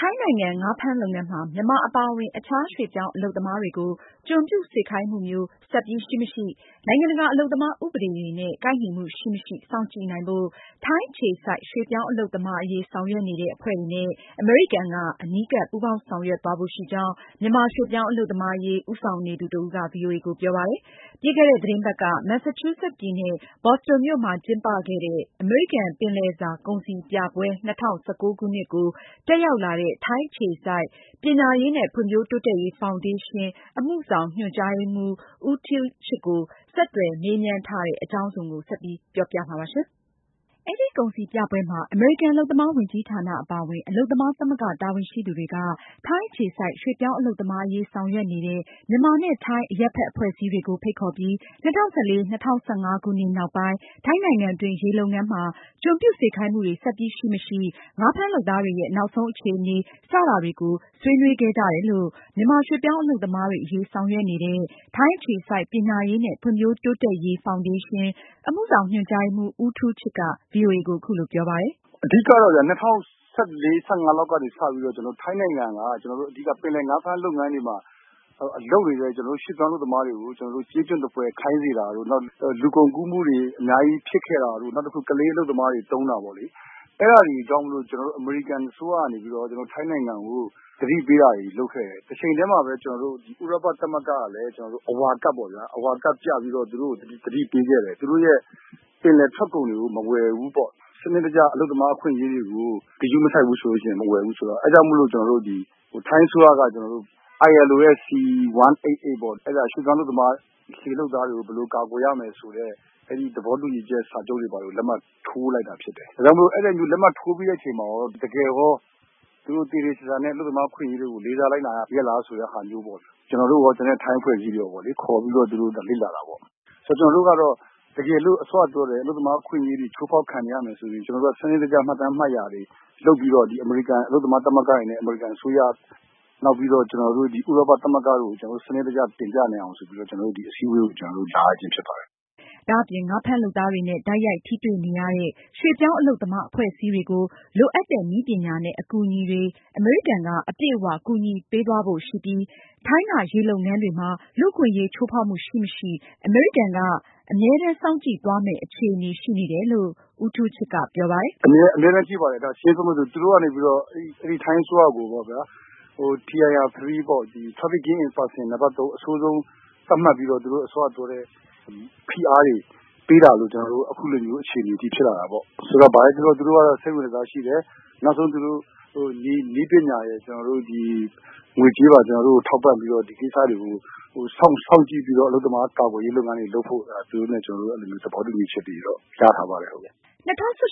ထိုင်းနိုင်ငံ ငါးဖမ်းလုပ်ငန်းမှာ မြန်မာအပါအဝင် အခြားရွှေ့ပြောင်းအလုပ်သမားတွေကို ကျွန်ပြုစေခိုင်းမှုမျိုး ဆက်ပြီး ရှိမရှိ၊ နိုင်ငံတကာ အလုပ်သမားဥပဒေတွေနဲ့ ကိုက်ညီမှုရှိမရှိ စောင့်ကြည့်နိုင်ဖို့ ထိုင်းအခြေစိုက် ရွှေ့ပြောင်းအလုပ်သမား အရေးဆောင်ရွက်နေတဲ့အဖွဲ့တွေနဲ့ အမေရိကန်က အနီးကပ် ပူးပေါင်းဆောင်ရွက်သွားဖို့ရှိကြောင်း မြန်မာရွှေ့ပြောင်း အလုပ်သမားအရေး ဦးဆောင်နေသူတဦးက ဗွီအိုအေကိုပြောပါတယ်။ ပြီးခဲ့တဲ့ သတင်းပတ်က Massachusetts ပြည်နယ် Boston မြို့မှာကျင်းပခဲ့တဲ့ အမေရိကန် ပင်လယ်စာကုန်စည်ပြပွဲ ၂၀၁၉ ကို တက်ရောက်လာတဲ့ ထိုင်းအခြေစိုက် ပညာရေးနဲ့ ဖွံဖြိုးတိုးတက်ရေး ဖောင်ဒေးရှင်း အမှုဆောင်ညွန်ကြားရေးမှူး ဦးထူးချစ်ကို ဆက်သွယ်မေးမြန်းထားတဲ့ မအင်ကြင်းနိုင်က အသေးစိတ်ကို ဆက်ပြီး ပြောပြမှာပါ။ အဲဒီကုန်စည်ပြပွဲမှာ အမေရိကန် အလုပ်သမားဝန်ကြီးဌာနအပါအဝင် အလုပ်သမားသမဂ္ဂ တာဝန်ရှိသူတွေက ထိုင်းအခြေစိုက် ရွှေ့ပြောင်းအလုပ်သမားအရေး ဆောင်ရွက်နေတဲ့ မြန်မာနဲ့ ထိုင်း အရပ်ဖက်အဖွဲ့အစည်းတွေကို ဖိတ်ခေါ်ပြီး ၂၀၁၄၊ ၁၅ ခုနှစ်နောက်ပိုင်း ထိုင်းနိုင်ငံတွင်း ရေလုပ်ငန်းမှာ ကျွန်ပြုစေခိုင်းမှုတွေဆက်ပြီး ရှိမရှိ၊ ငါးဖမ်းလုပ်သားတွေရဲ့ နောက်ဆုံးအခြေအနေ စတာတွေကို ဆွေးနွေးခဲ့ကြတယ်လို့ မြန်မာရွှေ့ပြောင်းအလုပ်သမားတွေအရေး ဆောင်ရွက်နေသူ ထိုင်းအခြေစိုက် ပညာရေးနဲ့ ဖွံဖြိုးတိုးတက်ရေး ဖောင်ဒေးရှင်း အမှုဆောင်ညွန်ကြားရေးမှူး ဦးထူးချစ်က ဗွီအိုအေကို အခုလိုပြောပါတယ်။ “ အဓိကတော့ ၂၀၁၄-၂၀၁၅ လောက်ကနေစပြီးတော့ ထိုင်းနိုင်ငံက ပင်လယ်ငါးဖမ်းလုပ်ငန်းတွေမှာ လုပ်နေတဲ့ ကျနော်တို့ ရွှေ့ပြောင်းအလုပ်သမားတွေကို ကျေးကျွန်သဖွယ်ခိုင်းစေတာတို့ နောက်လူကုန်ကူးမှုတွေ အများကြီးဖြစ်ခဲ့တာတို့ နောက်တခုက ကလေးအလုပ်သမားတွေ သုံးတာပေါ့လေ။ အဲဒါတွေကြောင့် အမေရိကန်အစိုးရကနေ ထိုင်းနိုင်ငံကို သတိပေးတာတွေ လုပ်ခဲ့တယ်။ တချိန်တည်းမှာလည်း ဥရောပသမဂ္ဂကလည်း အဝါကဒ်ပြပြီးတော့ သူတို့ကို သတိပေးခဲ့တယ်။ သူတို့ပင်လယ်ထွက်ကုန်တွေကို မဝယ်ဘူးပေါ့နော် ။ စနစ်တကျ အလုပ်သမားအခွင့်အရေးတွေကို ဂရုမစိုက်ဘူးဆိုရင် မဝယ်ဘူးဆိုတော့ အဲဒါကြောင့်မို့လို့ ကျနော်တို့ ထိုင်းအစိုးရနေပြီးတော့ ILO ရဲ့C 188ပေါ့ ရွှေ့ပြောင်းအလုပ်သမား လှေလုပ်သားတွေကို ဘယ်လိုကာကွယ်ရမယ်ဆိုတဲ့ အဲဒီသဘောတူညီချက် စာချုပ်တွေကိုလည်း လက်မှတ်ထိုးလိုက်တာဖြစ်တယ်။ ဒါကြောင့်မို့လို့ အဲဒီလက်မှတ်ထိုးပြီးတဲ့အချိန်မှာရော တကယ်ရော သူတို့ သေသေချာချာနဲ့ အလုပ်သမားအခွင့်အရေးတွေကို လေးစားလိုက်နာရဲ့လားဆိုတာမျိုးပေါ့လေ။ ကျနော်တို့ရော ကျန်တဲ့ ထိုင်းအဖွဲ့အစည်းတွေလည်း ခေါ်ပြီးတော့ သူတို့လေ့လာတာပေါ့။ ဆိုတော့ ကျနော်တို့ကတော့ စောနပြောတဲ့ တကယ်အလုပ်သမားအခွင့်အရေးတွေ ချိုးဖောက်ခံနေရမယ်ဆိုရင် စနစ်တကျ မှတ်တမ်းတွေလုပ်ပြီးတော့ ဒီအမေရိကန်အလုပ်သမား သမဂ္ဂတွေနဲ့ အမေရိကန်အစိုးရ နောက်ပြီးတော့ ဥရောပသမဂ္ဂကို စနစ်တကျတင်ပြနိုင်အောင်ဆိုပြီးတော့ ဒီအစည်းအဝေးကို ကျနော်တို့ လာရခြင်းဖြစ်ပါတယ်။” ဒါ့အပြင် ငါးဖမ်းလုပ်သားတွေနဲ့ တိုက်ရိုက်ထိတွေ့ နေရတဲ့ ရွှေ့ပြောင်းအလုပ်သမား အဖွဲ့အစည်းတွေအတွက် လိုအပ်တဲ့ နည်းပညာနဲ့ အကူအညီတွေကို အမေရိကန်က အပြည့်အ၀ ကူညီပေးသွားဖို့ ရှိပြီး ထိုင်းက ရေလုပ်ငန်းတွေမှာ လူ့အခွင့်အရေးချိုးဖောက်မှုရှိမရှိ အမေရိကန်က အမြဲတမ်းစောင့်ကြည်သွားမယ့် အခြေအနေရှိနေတယ်လို့လည်း ဦးထူးချစ်က ပြောပါတယ်။ “အမြဲတမ်းကြည့်ပါတယ် ပြောမယ်ဆိုရင် သူတို့ကနေ ထိုင်းအစိုးရကိုပေါ့ဗျာ Tier 3 နံပတ် ၃ အဆိုးဆုံး သတ်မှတ်ပြီးတော့ သူတို့အစောကပြောတဲ့ ဖိအားတွေပေးတာကြောင့် ကျနော်တို့ အဲလိုဖြစ်လာတာပေါ့။ ဆိုတော့ ဘာပဲပြောပြော သူတို့က စိတ်ဝင်တစားရှိတယ်။ သူတို့နည်းပညာတွေ ကျနော်တို့ ကို ငွေကြေးပါ ထောက်ပံ့ပြီးတော့ ဒီကိစ္စတွေကို စောင့်ကြည့်ပြီးတော့ အလုပ်သမားကာကွယ်ရေးလုပ်ငန်းတွေလုပ်ဖို့ သူတို့နဲ့ ကျနော်တို့ သဘောတူညီချက်တွေတော့ ရထားပါတယ်။” ၂၀၁